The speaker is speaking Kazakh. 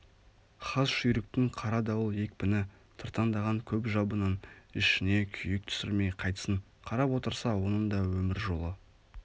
хас жүйріктің қара дауыл екпіні тыртаңдаған көп жабының ішіне күйік түсірмей қайтсін қарап отырса оның да өмір жолы